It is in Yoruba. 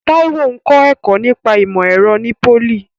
Taiwo ń kọ́ ẹ̀kọ́ nípa ìmọ̀ ẹ̀rọ ní pólì.